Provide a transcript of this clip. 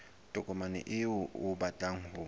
tokomane eo o batlang ho